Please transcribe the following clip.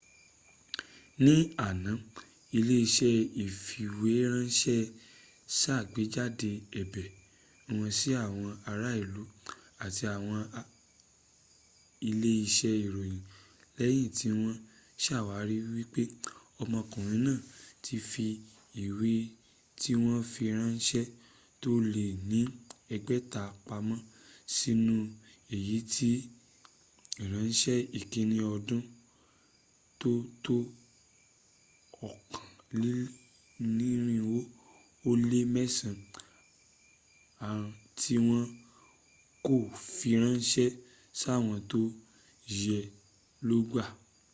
ní àná ilé-iṣẹ́ ìfìwéránṣẹ́ sàgbéjáde ẹ̀bẹ̀ wọn sí àwọn ará ìlú àti àwọn ilé-iṣẹ́ ìròyìn lẹ́yin tí wọ́n sàwárí wípé ọmọkùnrin náà ti fi ìwé tíwọ́nfiránṣẹ́ tó lé ní ẹgbẹ̀ta pamọ́́ nínú èyí tí ìránṣẹ́ ìkínni ọdún tó tó okòólénirinwó ó lé mẹ́sàn án tí wọ́n kò fi ránṣẹ́ sáwọn tó yẹ ló gbàá